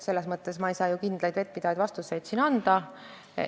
Selles mõttes ei saa ma kindlaid, vettpidavaid vastuseid siin anda.